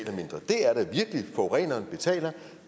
forureneren betaler